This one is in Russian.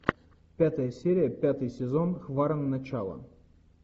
пятая серия пятый сезон хваран начало